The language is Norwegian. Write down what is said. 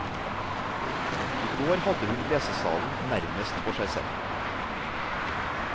I går hadde hun lesesalen nærmest for seg selv.